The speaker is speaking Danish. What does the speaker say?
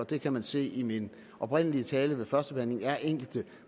det kan man se i min oprindelige tale ved førstebehandlingen er enkelte